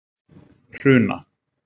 Hruna